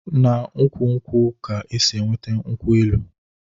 Na ukwu nkwu ka e si -enweta nkwu-elu